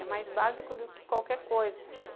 É mais básico do que qualquer coisa.